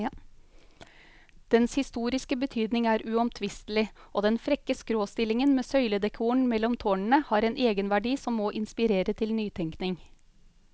Dens historiske betydning er uomtvistelig, og den frekke skråstillingen med søyledekoren mellom tårnene har en egenverdi som må inspirere til nytenkning.